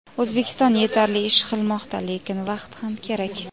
O‘zbekiston yetarli ish qilmoqda, lekin vaqt ham kerak.